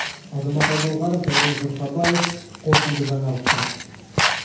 азамат алдоңғаров дәурен жұрхабаев қорытынды жаңалықтар